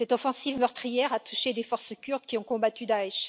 Cette offensive meurtrière a touché des forces kurdes qui ont combattu Daech.